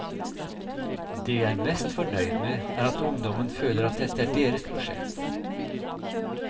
Det jeg er mest fornøyd med er at ungdommen føler at dette er deres prosjekt.